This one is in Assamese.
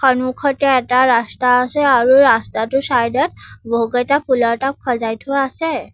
সন্মুখতে এটা ৰাস্তা আছে আৰু ৰাস্তাটোৰ চাইডত বহুকেইটা ফুলৰ টাব সজাই থোৱা আছে।